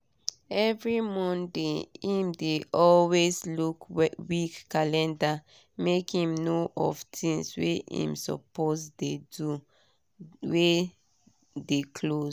every monday him dey always look week calendar make him know of tinz wey him suppose do wey dey close